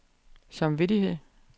samvittighed